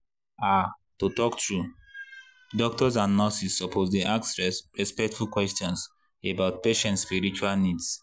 ah to talk true doctors and nurses suppose dey ask respectful questions about patient spiritual needs.